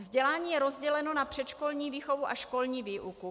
Vzdělání je rozděleno na předškolní výchovu a školní výuku.